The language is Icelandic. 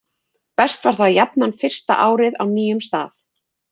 Best var það jafnan fyrsta árið á nýjum stað.